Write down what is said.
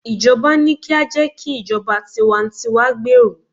ijoba ni ki a je ki ijoba tiwantiwa gberu